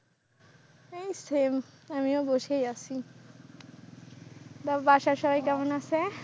এই same আমিও বসেই আছি, তারপর বাসার সবাই কেমন আছে?